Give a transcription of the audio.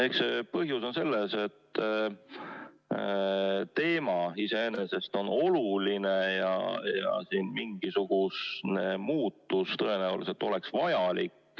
Eks see põhjus on selles, et teema iseenesest on oluline ja mingisugust muutust tõenäoliselt oleks vaja.